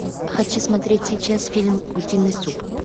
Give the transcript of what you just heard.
хочу смотреть сейчас фильм утиный суп